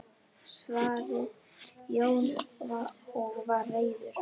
svaraði Jói og var reiður.